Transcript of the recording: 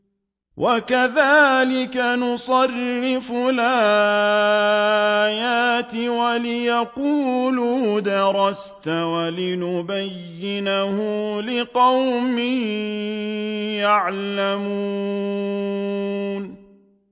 وَكَذَٰلِكَ نُصَرِّفُ الْآيَاتِ وَلِيَقُولُوا دَرَسْتَ وَلِنُبَيِّنَهُ لِقَوْمٍ يَعْلَمُونَ